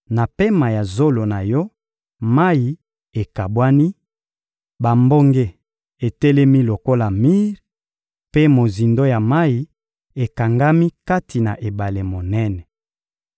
Na pema ya zolo na Yo, mayi ekabwani, bambonge etelemi lokola mir, mpe mozindo ya mayi ekangami kati na ebale monene.